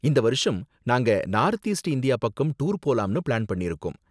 இந்த வருஷம் நாங்க நார்த் ஈஸ்ட் இந்தியா பக்கம் டூர் போலாம்னு பிளான் பண்ணிருக்கோம்.